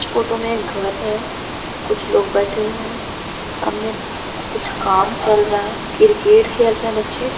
इस फोटो में एक घर है कुछ लोग बैठे हुए हैं सामने कुछ काम चल रहा है क्रिकेट खेल रहे हैं बच्चे।